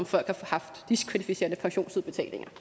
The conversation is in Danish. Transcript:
folk har haft diskvalificerende pensionsudbetalinger